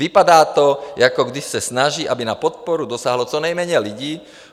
Vypadá to, jako když se snaží, aby na podporu dosáhlo co nejméně lidí.